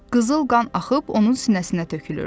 Qızıl qan axıb onun sinəsinə tökülürdü.